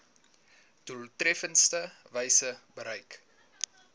doeltreffendste wyse bereik